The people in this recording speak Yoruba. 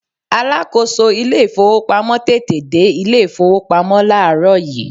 alákóso ilé ifowópamọ́ tètè dé ilé ifowópamọ́ laarọ yi